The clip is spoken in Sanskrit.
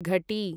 घटी